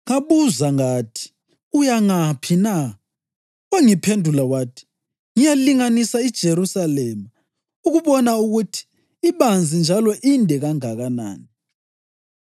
Ngabuza ngathi, “Uya ngaphi na?” Wangiphendula wathi, “Ngiyalinganisa iJerusalema, ukubona ukuthi ibanzi njalo inde kanganani.”